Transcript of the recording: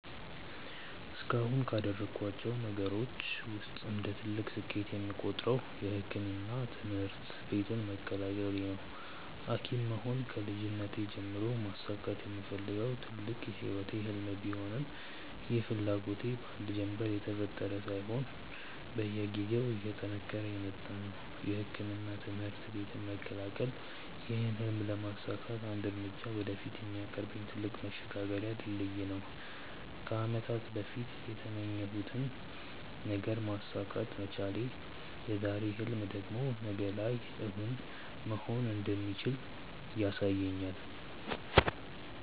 እስካሁንም ካደረኳቸው ነገሮች ውስጥ እንደ ትልቅ ስኬት የምቆጥረው የሕክምና ትምህርት ቤትን መቀላቀሌ ነው። ሀኪም መሆን ከልጅነቴ ጀምሮ ማሳካት የምፈልገው ትልቅ የህይወቴ ህልም ቢሆንም ይህ ፍላጎቴ በአንድ ጀንበር የተፈጠረ ሳይሆን በየጊዜው እየጠነከረ የመጣ ነው። የሕክምና ትምህርት ቤትን መቀላቀል ይህን ህልም ለማሳካት አንድ እርምጃ ወደፊት የሚያቀርበኝ ትልቅ መሸጋገሪያ ድልድይ ነው። ከአመታት በፊት የተመኘሁትን ነገር ማሳካት መቻል የዛሬ ህልሜ ደግሞ ነገ ላይ እውን መሆን እንደሚችል ያሳየኛል።